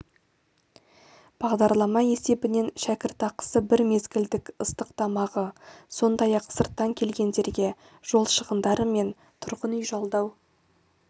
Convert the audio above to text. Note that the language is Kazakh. бағдарлама есебінен шәкіртақысы бір мезгілдік ыстық тамағы сондай-ақ сырттан келгендерге жол шығындары мен тұрғын үй жалдау